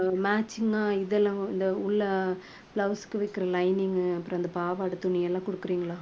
matching அ இதெல்லாம் இந்த உள்ள blouse க்கு வைக்கிற lining உ அப்புறம் அந்த பாவாடை துணி எல்லாம் குடுக்குறீங்களா